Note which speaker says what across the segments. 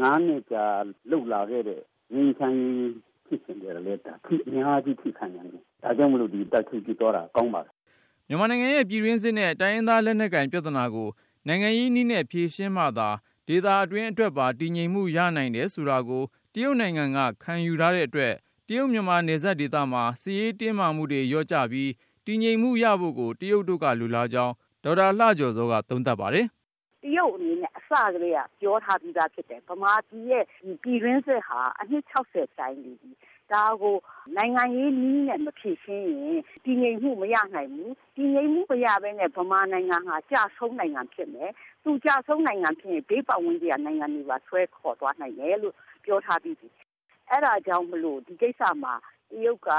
Speaker 1: ငါးနှစ်ကြာ လုပ်လာခဲ့တဲ့ ငြိမ်းချမ်းရေးဖြစ်စဉ်ကလည်း အများကြီးထိခိုက်နိုင်တယ်။ ဒါကြောင့်မို့လို့ တပ်ချုပ်ကြီးသွားတာ ကောင်းပါတယ်။
Speaker 2: " မြန်မာနိူင်ငံရဲ့ ပြည်တွင်းစစ်နဲ့ တိုင်းရင်းသား လက်နက်ကိုင်ပြဿနာကို နိုင်ငံရေးနည်း နဲ့ ဖြေရှင်းမှသာ ဒေသတွင်းအတွက်ပါ တည်ငြိမ်မှုရနိုင် တယ်ဆိုတာကို တရုတ်နိုင်ငံက ခံယူထားတဲ့ အတွက် တရုတ်မြန်မာနယ်စပ်မှာ စစ်ရေး တင်းမာမှုတွေလျော့ပြီး တည်ငြိမ်မှုရဖို့ကို တရုတ်တို့က လိုလားကြောင်း ဒေါက်တာ လှကျော်ဇောက သုံးသပ်ပါတယ်
Speaker 3: ။ "တရုတ်အနေနဲ့ အစကတည်းက ပြောထားပြီးသားဖြစ်တယ်။ ဗမာပြည်ရဲ့ပြည်တွင်းစစ်ဟာ အနှစ်ခြောက်ဆယ်တိုင်နေပြီ။ ဒါကို နိုင်ငံရေးနည်းနဲ့ မဖြေရှင်းရင် တည်ငြိမ်မှုမရနိုင်ဘူး။ တည်ငြိမ်မှု မရပဲနဲ့ မြန်မာနိုင်ငံဟာ ကျဆုံးနိုင်ငံဖြစ်မယ်။ သူ ကျဆုံးနိုင်ငံဖြစ်ရင် ဘေးပတ်ဝန်းကျင်နိုင်ငံတွေပါ ဆွဲခေါ်သွားနိုင်တယ်လို့ ပြောထားပြီးပြီ။ အဲ့တာကြောင့်မို့လို့ ဒီကိစ္စမှာ တရုတ်က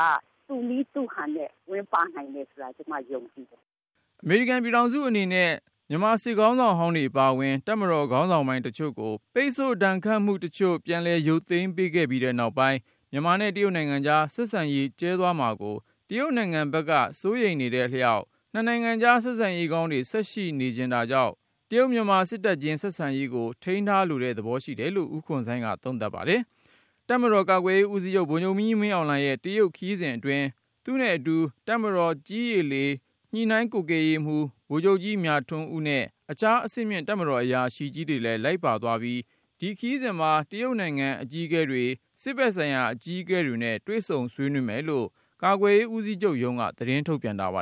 Speaker 3: သူ့နည်း သူဟန်နဲ့ ဝင်ပါနိုင်တယ်ဆိုတာ ကျမယ
Speaker 1: ုံကြည်တယ်
Speaker 2: ။" အမေရိကန်ပြည်ထောင်စုအနေနဲ့ စစ်ခေါင်းဆောင်ဟောင်းတွေအပါအဝင် တပ်မတော်ခေါင်းဆောင်ပိုင်းတချို့ကို ပိတ်ဆို့ဒဏ်ခတ်မှု တချို့ကို ပြန်ရုပ်သိမ်းပေးခဲ့ပြီးနောက်ပိုင်း မြန်မာနဲ့ တရုတ်နိုင်ငံကြား ဆက်ဆံရေးကျဲသွားမှာကို တရုတ်နိုင်ငံဖက်က စိုးရိမ်တဲ့အလျှောက် ဆက်ဆံရေး ကောင်းတွေ ဆက်ရှိချင်တာကြောင့် တရုတ်မြန်မာ စစ်တပ်ချင်းဆက်ဆံရေးကို ထိန်းသိမ်းထားလိုတဲ့သဘောရှိတယ်လို့ ဦးခွန်ဆိုင်းက သုံးသပ်ပါတယ်။ တပ်မတော်ကာကွယ်ရေးဦးစီးချုပ် ဗိုလ်ချုပ်မှူးကြီး မင်းအောင်လှိုင်ရဲ့ တရုတ်ခရီးစဉ်အတွင်း သူနဲ့အတူ တပ်မတော် ညှိနှိုင်း ကွပ်ကဲရေးမှူး ဗိုလ်ချုပ်ကြီးမြထွန်းဦးနဲ့ အခြားအဆင့်မြင့် တပ်မတော်အရာရှိကြီးတွေလဲ လိုက်ပါသွားပြီး ဒီခရီစဉ်မှာ တရုတ်နိုင်ငံအကြီးအကဲ တွေ၊ စစ်ဘက်ဆိုင်ရာ အကြီးအကဲတွေ နဲ့ တွေ့ဆုံဆွေးနွေးမယ်လို့ ကာကွယ်ရေးဦးစီးချုပ်ရုံးက သတင်းထုတ်ပြန်ထားပါ